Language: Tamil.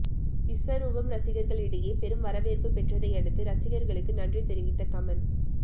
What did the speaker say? விஸ்வரூபம் ரசிகர்களிடையே பெரும் வரவேற்பு பெற்றதையடுத்து ரசிகர்களுக்கு நன்றி தெரிவித்த கமல்